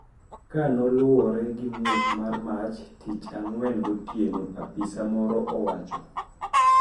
Kanoluwore gi muoch mar mach tich ang`wen gotieno apisa moro owacho,